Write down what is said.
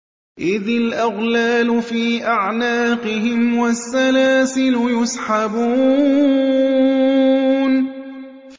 إِذِ الْأَغْلَالُ فِي أَعْنَاقِهِمْ وَالسَّلَاسِلُ يُسْحَبُونَ